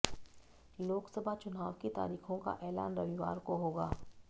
लोकसभा चुनाव की तारीखों का ऐलान रविवार को होगा